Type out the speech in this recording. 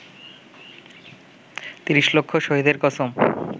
৩০ লক্ষ শহীদের কসম